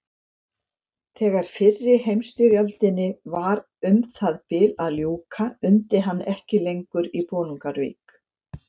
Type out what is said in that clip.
Þegar fyrri heimsstyrjöldinni var um það bil að ljúka undi hann ekki lengur í Bolungarvík.